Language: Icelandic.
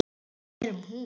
Við erum hún.